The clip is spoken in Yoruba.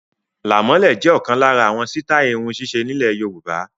Làmọ́lẹ̀ jẹ ọkan lára àwọn sítai irun sise nilẹ Yorùbá